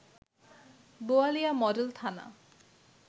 Boalia model থানা